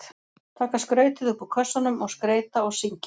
Taka skrautið upp úr kössunum og skreyta og syngja.